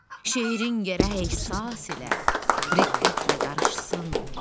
Şeirin gərək hiss ilə, riqqətlə qarışsın.